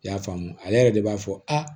I y'a faamu ale yɛrɛ de b'a fɔ a